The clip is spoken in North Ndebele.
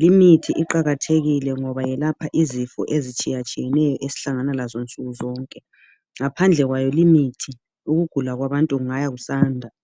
Limithi iqakathekile ngoba yelapha izifo ezitshiyeneyo esihlangana lazo nsukuzonke.. ngaphandle kwayo limithi ukugula kwabantu kunga kusanda